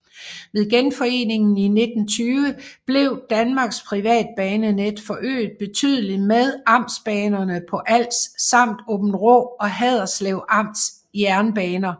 Ved genforeningen i 1920 blev Danmarks privatbanenet forøget betydeligt med amtsbanerne på Als samt Aabenraa og Haderslev Amts jernbaner